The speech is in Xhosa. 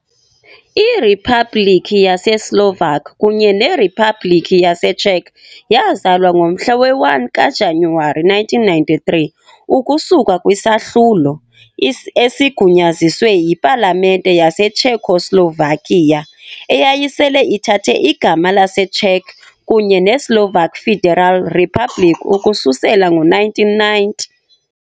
IRiphabhlikhi yaseSlovak kunye neRiphabhlikhi yaseCzech yazalwa ngomhla we-1 kaJanuwari 1993 ukusuka kwisahlulo, esigunyaziswe yipalamente yaseCzechoslovakia, eyayisele ithathe igama leCzech kunye neSlovak Federal Republic ukususela ngo-1990.